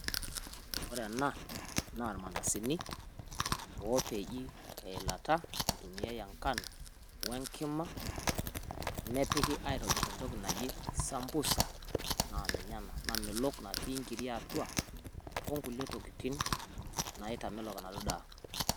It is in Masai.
Ore ena na irmandasini, opeji teilata itumiai enkano, wenkima, nepiki aitobir entoki naji sambusa. Na ninye ena namelok natii nkiri atua onkulie tokiting' naitamelon enaduo daa.